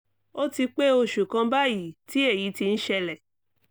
ó ti pé oṣù kan báyìí tí èyí ti ń ṣẹlẹ̀